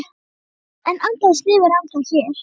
En andi hans lifir ennþá hér